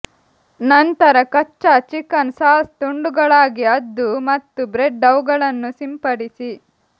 ನಂತರ ಕಚ್ಚಾ chicken sauce ತುಂಡುಗಳಾಗಿ ಅದ್ದು ಮತ್ತು ಬ್ರೆಡ್ ಅವುಗಳನ್ನು ಸಿಂಪಡಿಸಿ